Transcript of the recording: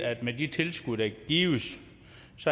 at med de tilskud der gives